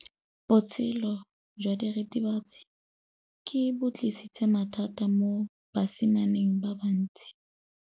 Botshelo jwa diritibatsi ke bo tlisitse mathata mo basimaneng ba bantsi.